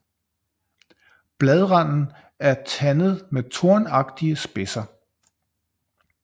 Bladranden er tandet med tornagtige spidser